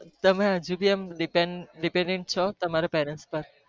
તમને હજુ સુધી તમાર depended છો તમારા parents